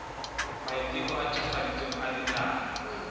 maiteko a ntjhafaditsweng a dinaha